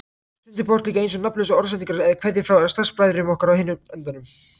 Stundum bárust líka eins og nafnlausar orðsendingar eða kveðjur frá starfsbræðrum okkar á hinum endanum.